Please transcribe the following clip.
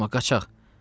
Durma, qaçaq!